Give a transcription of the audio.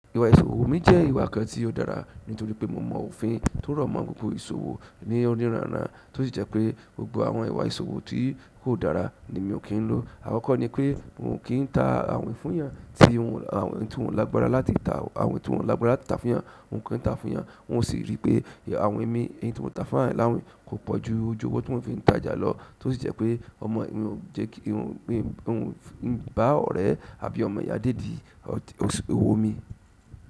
Ìwà ìṣòwò mi jẹ́ ìwà kan tí ó dára nítorí pé mo mọ òfin tó rọ̀ mọ́ gbogbo ìṣòwò ní ọ̀niranran, tó sì jẹ́ pé gbogbo àwọn ìwà ìṣòwò tí kò dára ni mi ò kín ń lo. Àkọ́kọ́ ni pé n ò kí n ta àwin fún yàn tí wọ ẹ̀yan tí wò ń lágbára láti tàá àwin tí wò ń lágbára láti tàá fún ìyàn, n ò kín tàá fún ìyàn. Wọn sì rí pé àwin mi, nyin tí mò ń tà fún àwọn ẹ̀yan láwìn kò pọ̀ ju ojú ọwọ́ tí mo fi tàjà lọ, tó sì jẹ́ pé mi ò jẹ́ kí n bá ọ̀rẹ́ àbí ọmọ ìyá dédì owó mi.